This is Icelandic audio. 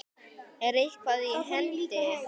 Er eitthvað í hendi?